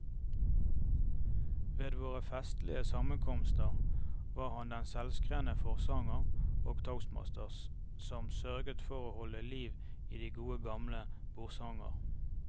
Ved våre festlige sammenkomster var han den selvskrevne forsanger og toastmaster som sørget for å holde liv i de gode gamle bordsanger.